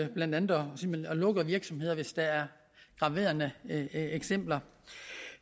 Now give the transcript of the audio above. blandt andet simpelt hen lukker virksomheder hvis der er graverende eksempler